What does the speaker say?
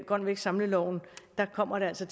grøn vækst samleloven kommer altså